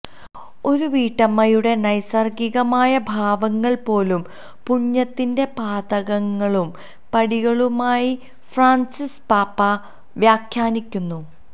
ഒരു വീട്ടമ്മയുടെ നൈസർഗ്ഗീകമായ ഭാവങ്ങൾ പോലും പുണ്യത്തിന്റെ പാതകളും പടികളുമായി ഫ്രാൻസിസ് പാപ്പാ വ്യാഖ്യാനിക്കുന്നു